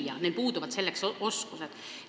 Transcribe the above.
Õpetajatel puuduvad selleks oskused.